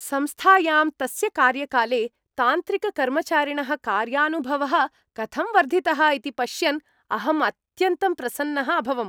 संस्थायां तस्य कार्यकाले तान्त्रिककर्मचारिणः कार्यानुभवः कथं वर्धितः इति पश्यन् अहं अत्यन्तं प्रसन्नः अभवम्।